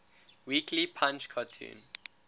weekly punch cartoon